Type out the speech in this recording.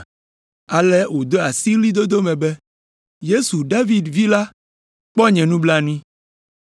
Ale wode asi ɣlidodo me be, “Yesu David Vi la, kpɔ nye nublanui!”